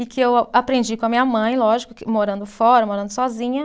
E que eu aprendi com a minha mãe, lógico que, morando fora, morando sozinha.